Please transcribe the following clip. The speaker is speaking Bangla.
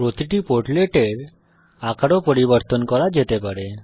প্রতিটি পোর্টলেট এর আকার ও পরিবর্তন করা যেতে পারে